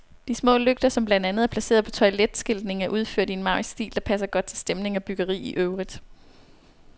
De små lygter, som blandt andet er placeret på toiletskiltningen, er udført i en maurisk stil, der passer godt til stemning og byggeri i øvrigt.